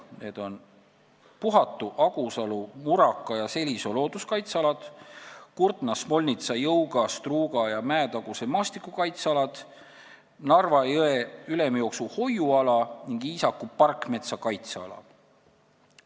Need on Puhatu, Agusalu, Muraka ja Selisoo looduskaitseala, Kurtna, Smolnitsa, Jõuga, Struuga ja Mäetaguse maastikukaitseala, Narva jõe ülemjooksu hoiuala ning Iisaku parkmetsa kaitseala.